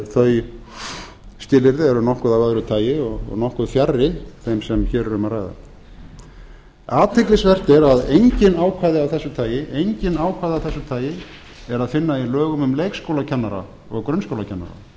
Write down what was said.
þau skilyrði eru nokkuð af öðru tagi og nokkuð fjarri þeim sem hér er um að ræða athyglisvert er að engin ákvæði af þessu tagi er að finna í lögum um leikskólakennara og grunnskólakennara